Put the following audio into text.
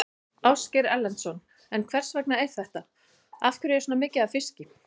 Ásgeir Erlendsson: En hvers vegna er þetta, af hverju er svona mikið af fiski?